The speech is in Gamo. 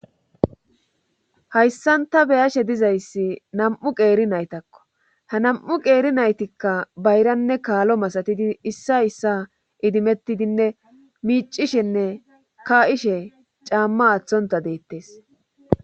hayssan ta be'ashe dizayssi nam'u qeeri naytakko ha nam'u qeeri naytikka bayranne kaalo masatidi issa issa idimettidinne miicishenne ka'ishe caamma aththonta deettes